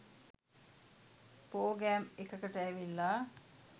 Programme එකකට ඇවිල්ලා.